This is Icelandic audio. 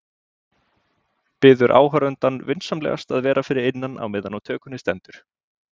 Biður áhorfandann vinsamlegast að vera fyrir innan meðan á tökunni stendur.